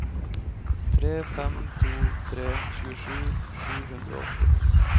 tre fem to tre tjuesju sju hundre og åtti